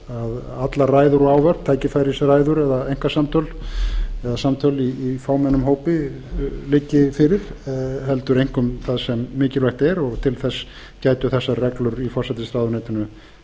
að allar ræður og ávörp tækifærisræður eða einkasamtöl eða samtöl í fámennum hópi liggi fyrir heldur einkum það sem mikilvægt er og til þess gætu þessar reglur í forsætisráðuneytinu